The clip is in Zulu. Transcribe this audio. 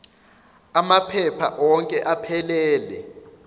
amaphepha onke aphelele